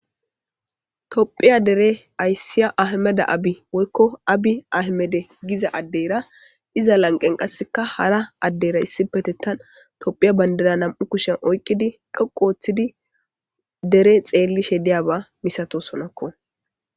tophiya dere ayssiya ahmeda abi woykko abi ahmede giza addeyra iza lanqen qasseka hara addeyra issipetettan tophiya bandira nam7u kushen oyqqidi dhoqu ooththidi dere xeelli shediyaba misato sonakko